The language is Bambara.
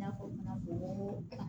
N y'a fɔ ɲana n ko